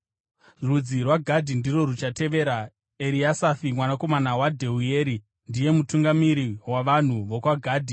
Rudzi rwaGadhi ndirwo ruchatevera. Eriasafi mwanakomana waDheueri ndiye mutungamiri wavanhu vokwaGadhi.